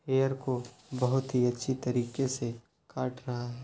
Hair को बहुत ही अच्छी तरीके से काट रहा है।